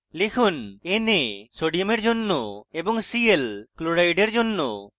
লিখুন na sodium জন্য এবং cl chloride জন্য